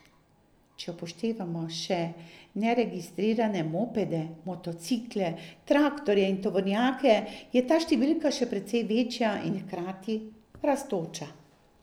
Če upoštevamo še neregistrirane mopede, motocikle, traktorje in tovornjake, je ta številka še precej večja in hkrati rastoča.